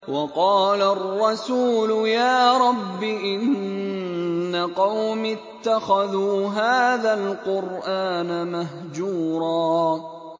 وَقَالَ الرَّسُولُ يَا رَبِّ إِنَّ قَوْمِي اتَّخَذُوا هَٰذَا الْقُرْآنَ مَهْجُورًا